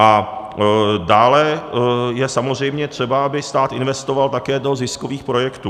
A dále je samozřejmě třeba, aby stát investoval také do ziskových projektů.